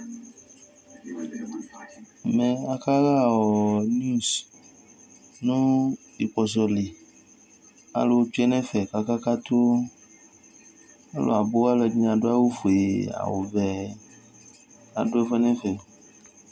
Ɛmɛ akaɣa niwz nu ikpɔsɔli Alu tsue nu ɛfɛ ku akakatu Laku alu ɛdini adu awu fue awu vɛ Adu ɛfuɛ nu ɛfɛ